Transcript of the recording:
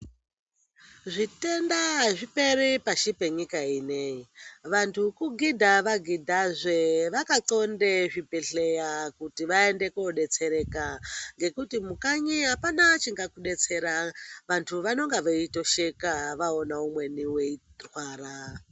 Zvitenda azviperi pashi penyika ineyi vantu kugidha va gidha zveee vaka ndxonde zvi bhedhleya kuti vaende ko detsereka ngekuti mukanyi apana chingaku detsera vantu vanonga veito sheka vaona umweni weirwara.